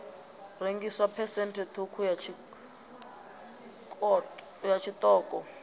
rengiswa phesenthe ṱhukhu ya tshiṱoko